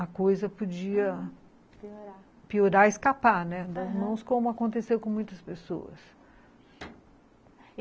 a coisa podia piorar, escapar, né, das mãos, como aconteceu com muitas pessoas.